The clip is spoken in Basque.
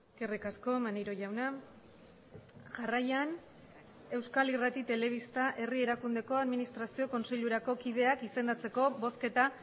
eskerrik asko maneiro jauna jarraian euskal irrati telebista herri erakundeko administrazio kontseilurako kideak izendatzeko bozketa